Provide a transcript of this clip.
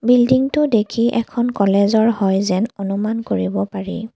Building টো দেখি এখন কলেজ ৰ হয় যেন অনুমান কৰিব পাৰি।